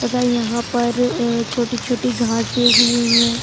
तथा यहाँ पर छोटी-छोटी घासे उगी हुई है।